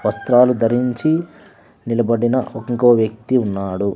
వస్త్రాలు ధరించి నిలబడిన ఇంకో వ్యక్తి ఉన్నాడు.